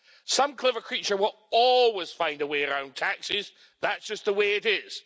Some clever creature will always find a way around taxes, that's just the way it is.